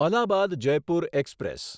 Allahabad Jaipur express